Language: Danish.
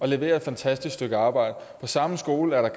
leverer et fantastisk stykke arbejde på samme skole er der